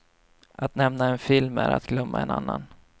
Att nämna en film är att glömma en annan.